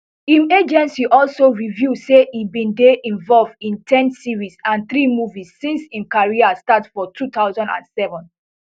im agency also reveal say e bin dey involved in ten series and three movies since im career start for two thousand and seven